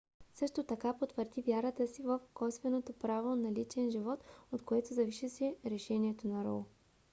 също така потвърди вярата си в косвеното право на личен живот от което зависеше решението на роу